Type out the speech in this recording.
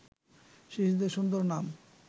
শিশুদের সুন্দর নাম